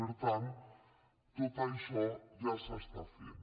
per tant tot això ja s’està fent